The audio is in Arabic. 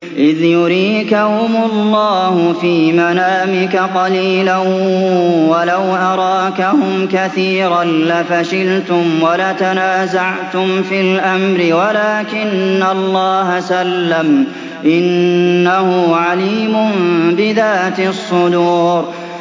إِذْ يُرِيكَهُمُ اللَّهُ فِي مَنَامِكَ قَلِيلًا ۖ وَلَوْ أَرَاكَهُمْ كَثِيرًا لَّفَشِلْتُمْ وَلَتَنَازَعْتُمْ فِي الْأَمْرِ وَلَٰكِنَّ اللَّهَ سَلَّمَ ۗ إِنَّهُ عَلِيمٌ بِذَاتِ الصُّدُورِ